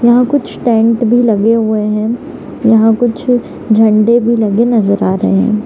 यहां कुछ टेंट भी लगे हुए हैं यहां कुछ झंडे भी लगे नजर आ रहे --